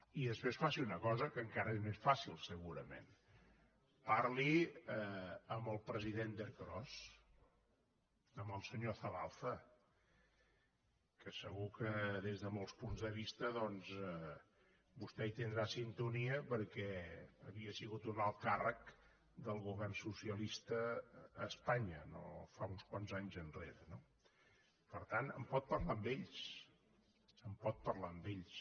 i després faci una cosa que encara és més fàcil segurament parli amb el president d’ercros amb el senyor zabalza que segur que des de molts punts de vista doncs vostè hi tindrà sintonia perquè havia sigut un alt càrrec del govern socialista a espanya uns quants anys enrere no per tant en pot parlar amb ells en pot parlar amb ells